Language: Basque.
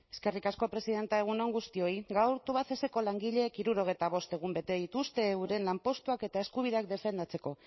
eskerrik asko presidente egun on guztioi gaur tubacexeko langileek hirurogeita bost egun bete dituzte euren lanpostuak eta euren eskubideak defendatzeko